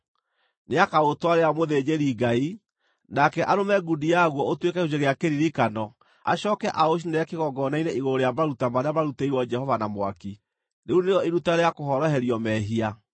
Nĩakaũtwarĩra mũthĩnjĩri-Ngai, nake arũme ngundi yaguo ũtuĩke gĩcunjĩ gĩa kĩririkano acooke aũcinĩre kĩgongona-inĩ igũrũ rĩa maruta marĩa marutĩirwo Jehova na mwaki. Rĩu nĩrĩo iruta rĩa kũhoroherio mehia.